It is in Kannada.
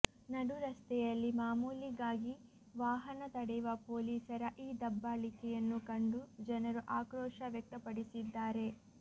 ನಡು ರಸ್ತೆಯಲ್ಲಿ ಮಾಮುಲಿಗಾಗಿ ವಾಹನ ತಡೆಯುವ ಪೋಲಿಸರ ಈ ದಬ್ಬಾಳಿಕೆಯನ್ನು ಕಂಡು ಜನರು ಆಕ್ರೋಶ ವ್ಯಕ್ತಪಡಿಸಿದ್ದಾರೆ